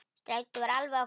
Strætó var alveg að koma.